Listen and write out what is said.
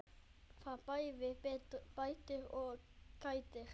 Það bæði bætir og kætir.